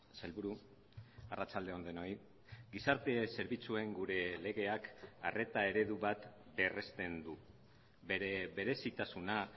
sailburu arratsalde on denoi gizarte zerbitzuen gure legeak arreta eredu bat berresten du bere berezitasuna